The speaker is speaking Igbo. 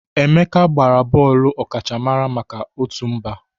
Emeka gbara bọọlụ bọọlụ ọkachamara maka otu mba.